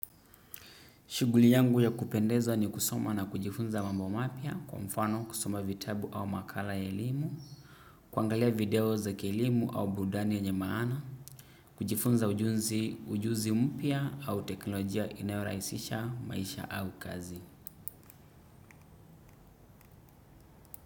Shuguli yangu ya kupendezwa ni kusoma na kujifunza mambo mapya kwa mfano kusoma vitabu au makala ya elimu, kuangalia video za kielimu au burudani yenye mana, kujifunza ujuzi mpya au teknolojia inayoraisisha maisha au kazi.